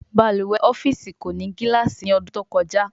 Balùwè ọ́fíìsì kò ní gilaasi ní odún to kojá